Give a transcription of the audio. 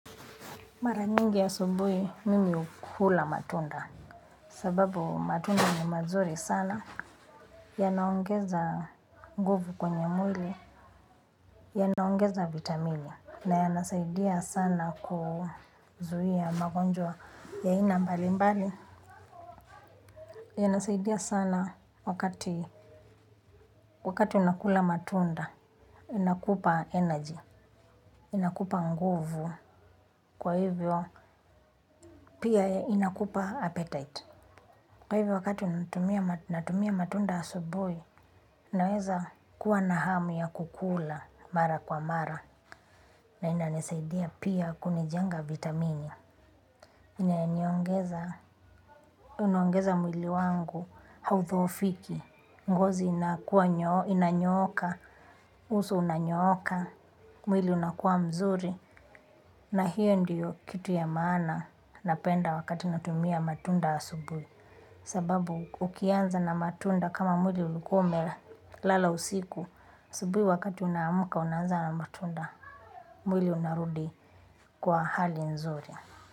Mara nyingi asubuhi mimi hukula matunda. Sababu matunda ni mazuri sana. Ya naongeza nguvu kwenye mwili. Ya naongeza vitamini. Na yanasaidia sana kuzuia magonjwa ya ina mbali mbali. Yanasaidia sana wakati wakati unakula matunda. Inakupa energy. Inakupa nguvu. Kwa hivyo pia inakupa appetite. Kwa hivyo wakati natumia matunda asubuhi, naweza kuwa na hamu ya kukula mara kwa mara, na ina nisaidia pia kunijenga vitamini. Ina niongeza, unaongeza mwili wangu haudhopfiki, ngozi inanyoka, uso unanyoka, mwili unakuwa mzuri, na hiyo ndiyo kitu ya maana napenda wakati natumia matunda asubui. Sababu ukianza na matunda kama mwili ulikuwa umelala usiku asubuhi wakati unamka unaanza na matunda mwili unarudi kwa hali nzuri.